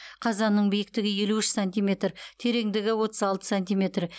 қазанның биіктігі елу үш сантиметр тереңдігі отыз алты сантиметр